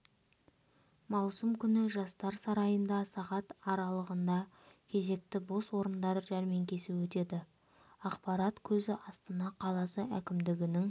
маусым күні жастар сарайында сағат аралығында кезекті бос орындар жәрмеңкесі өтеді ақпарат көзі астана қаласы әкімдігінің